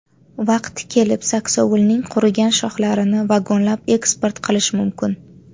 Vaqti kelib saksovulning qurigan shoxlarini vagonlab eksport qilish mumkin.